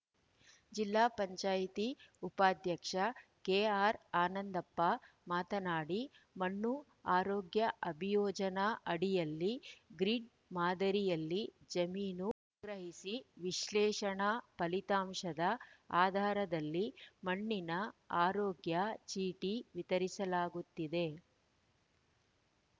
ಜಿಲ್ಲಾ ಪಂಚಾಯಿತಿ ಉಪಾಧ್ಯಕ್ಷ ಕೆಆರ್‌ ಆನಂದಪ್ಪ ಮಾತನಾಡಿ ಮಣ್ಣು ಆರೋಗ್ಯ ಅಭಿಯೋಜನಾ ಅಡಿಯಲ್ಲಿ ಗ್ರೀಡ್‌ ಮಾದರಿಯಲ್ಲಿ ಜಮೀನು ಮಣ್ಣು ಮಾದರಿ ಸಂಗ್ರಹಿಸಿ ವಿಶ್ಲೇಷಣಾ ಫಲಿತಾಂಶದ ಆಧಾರದಲ್ಲಿ ಮಣ್ಣಿನ ಆರೋಗ್ಯ ಚೀಟಿ ವಿತರಿಸಲಾಗುತ್ತಿದೆ